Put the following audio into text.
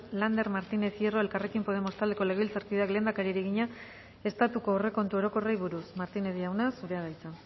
lander martínez hierro elkarrekin podemos taldeko legebiltzarkideak lehendakariari egina estatuko aurrekontu orokorrei buruz martínez jauna zurea da hitza